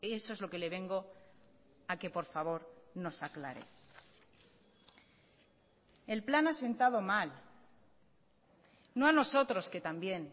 eso es lo que le vengo a que por favor nos aclare el plan ha sentado mal no a nosotros que también